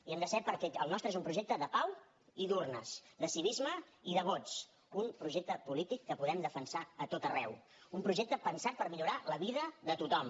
hi hem de ser perquè el nostre és un projecte de pau i d’urnes de civisme i de vots un projecte polític que podem defensar a tot arreu un projecte pensat per millorar la vida de tothom